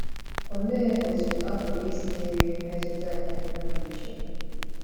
Olee otú a pụrụ isi merie mmetụta nke nnọpụ iche?